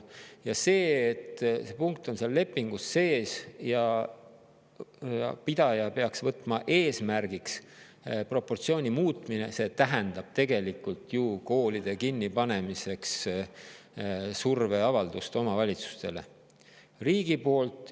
Ja see, et see punkt on lepingus sees ja koolipidaja peaks võtma eesmärgiks proportsiooni muuta, tähendab tegelikult riigi poolt omavalitsustele avaldatavat survet koolide kinnipanemiseks.